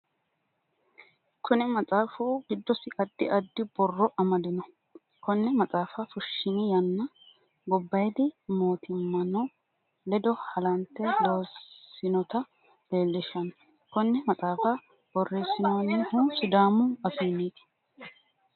Kunni maxaafu gidosi addi addi borro amadino. Konne maxaafa fushinni yanna gobayidi mootimmano ledo halante loosinota leelishano. Konne maxaafa boreesinoonnihu sidaamu afiinniti.